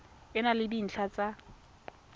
e na le dintlha tsa